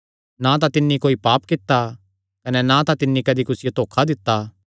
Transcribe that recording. ना तां तिन्नी कोई पाप कित्ता कने ना तिन्नी कदी कुसियो धोखा दित्ता